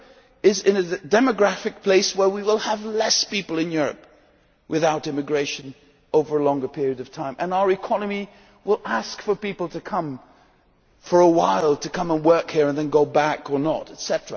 Europe is in a demographic place where we will have fewer people in Europe without immigration over a longer period of time, and our economy will ask for people to come for a while and work here and then go back or not, etc.